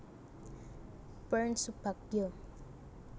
Purn Subagyo